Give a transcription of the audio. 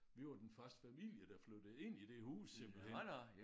Vi var den første familie der flyttede ind i det hus simpelthen